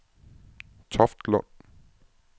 Toftlund